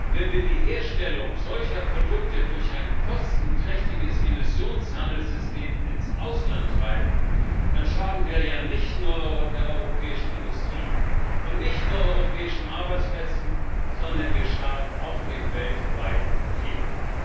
Wenn wir die Herstellung solcher Produkte durch ein kostenträchtiges Emissionshandelssystem ins Ausland treiben, dann schaden wir ja nicht nur der europäischen Industrie und nicht nur europäischen Arbeitsplätzen, sondern wir schaden auch dem weltweiten Klima.